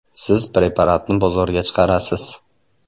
Siz preparatni bozorga chiqarasiz.